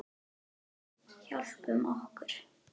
Við hjálpum okkur.